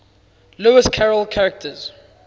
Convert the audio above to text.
lewis carroll characters